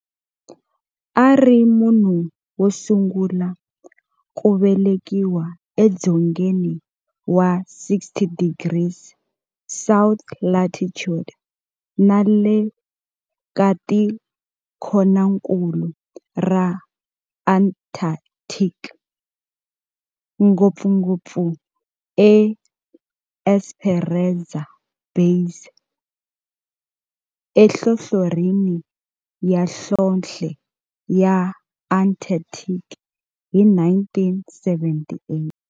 A ri munhu wo sungula ku velekiwa e dzongeni wa 60 degrees south latitude na le ka tikonkulu ra Antarctic, ngopfungopfu eEsperanza Base enhlohlorhini ya nhlonhle ya Antarctic hi 1978.